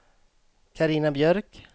Carina Björk